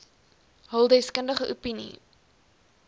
hul deskundige opinie